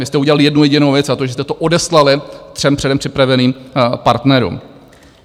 Vy jste udělali jednu jedinou věc, a to, že jste to odeslali třem předem připraveným partnerům.